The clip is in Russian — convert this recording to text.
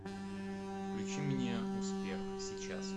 включи мне успех сейчас